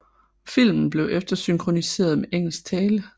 Filmen blev eftersynkroniseret med engelsk tale